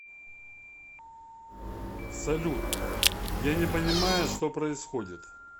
салют я не понимаю что происходит